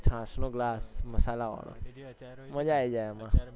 છાસ નો glass મસાલાવાળો મજ્જા આવી જાય એમાં